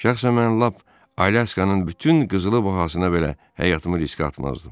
Şəxsən mən lap Alyaskanın bütün qızılı bahasına belə həyatımı riskə atmazdım.